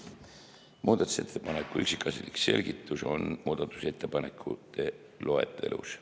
Muudatusettepaneku üksikasjalik selgitus on muudatusettepanekute loetelus.